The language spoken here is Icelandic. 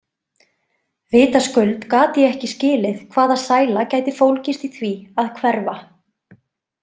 Vitaskuld gat ég ekki skilið hvaða sæla gæti fólgist í því að hverfa.